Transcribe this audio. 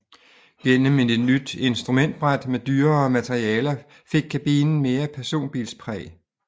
Gennem et nyt instrumentbræt med dyrere materialer fik kabinen mere personbilspræg